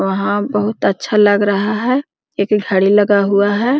वहां बहुत अच्छा लग रहा है एक घड़ी लगा हुआ है।